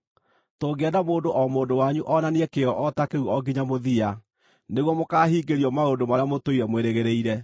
Tũngĩenda mũndũ o mũndũ wanyu onanie kĩyo o ta kĩu o nginya mũthia, nĩguo mũkaahingĩrio maũndũ marĩa mũtũire mwĩrĩgĩrĩire.